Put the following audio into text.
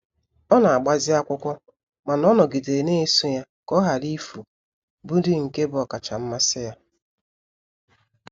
Ọ n'agbazi akwụkwọ mana ọ nọgidere na-eso ya ka ọ ghara ifu bu ndi nke bu okacha mmasi ya.